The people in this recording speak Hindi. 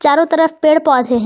चारों तरफ पेड़ पौधे हैं।